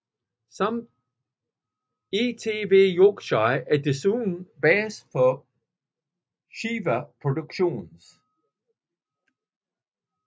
ITV Yorkshire er desuden base for Shiver Productions